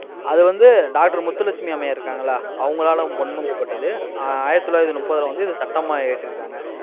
அது வந்து doctor முத்துலட்சுமி அம்மையார் இருக்காங்கல்ல அவங்களால பொன்மொழியப்பட்டது. ஆஹ் ஆயிரத்தி தொள்ளாயிரத்தி முப்பத்துல வந்து, இதை சட்டமா இயற்றி இருக்காங்க.